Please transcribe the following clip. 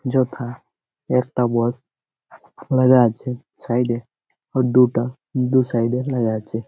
যথা একটা বস্ত লাগা আছে সাইড -এ আর দুটা দু সাইড -এ লাগা আছে।